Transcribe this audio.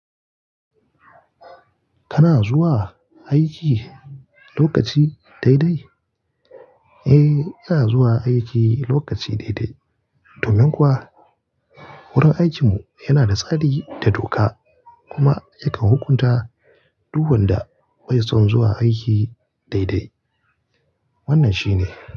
Kana zuwa aiki lokaci dai dai? Eh, ina zuwa aiki lokaci dai dai, domin kuwa wurin aikinmu yana da tsari da doka kuma yakan hukunta duk wanda bai son zuwa aiki dai dai. Wannan shine.